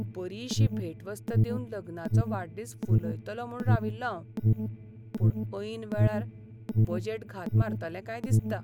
बरीशी भेटवस्त दिवन लग्नाचो वाडदीस फुलयतलों म्हूण राविल्लों हांव. पूण ऐन वेळार बजेट घात मारतलें काय दिसता.